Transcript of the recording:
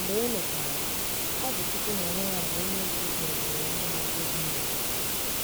mgbe emechara, ọbụ chụkwu na onwe ya bụ onye gụzọbere nhazi ezinulo